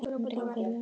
Andri og Guðrún.